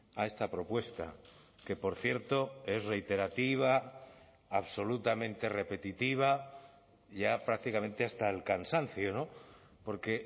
a esta propuesta que por cierto es reiterativa absolutamente repetitiva ya prácticamente hasta el cansancio porque